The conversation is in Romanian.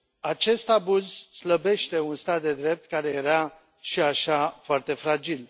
Acest abuz slăbește un stat de drept care era, și așa, foarte fragil.